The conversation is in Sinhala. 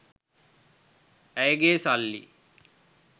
ඇයගේ සල්ලි